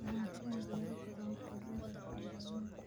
Lahaanshaha beero badan waxay leedahay faa'iidooyin.